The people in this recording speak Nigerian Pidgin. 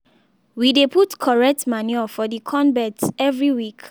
we dey put correct manure for the corn beds every week.